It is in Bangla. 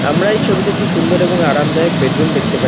আমরা এই ছবিতে একটি সুন্দর এবং আরামদায়ক বেডরুম দেখতে পাচ্ছি।